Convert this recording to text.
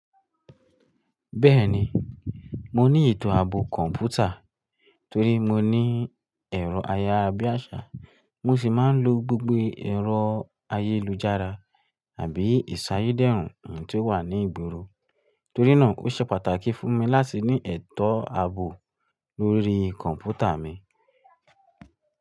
Bẹ́ẹ̀ni, mo ní ètò ààbò kọ̀ǹpútà torí mo ní ẹ̀rọ ayára bí àṣá, mo sì máa ń lo gbogbo ẹ̀rọ ayélujára àbí ìsáyé dẹ́rùn tó wà ní ìgboro. Torí náà ó ṣe pàtàkì fún mi láti ní ètò ààbò lórí kọ̀ǹpútà mi.